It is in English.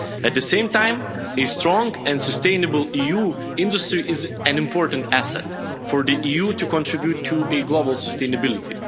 At the same time, a strong and sustainable EU industry is an important asset for the EU to contribute to global sustainability.